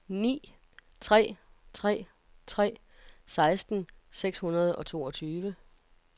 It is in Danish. ni tre tre tre seksten seks hundrede og toogtyve